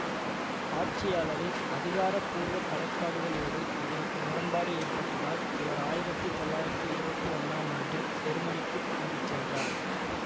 ஆட்சியாளரின் அதிகாரபூர்வக் கலை கோட்பாடுகளோடு இவருக்கு முரண்பாடு ஏற்பட்டதால் இவர் ஆயிரத்தி தொள்ளாயிரத்தி இருவத்தி ஒன்னாம் ஆண்டில் செருமனிக்குத் திரும்பி சென்றார்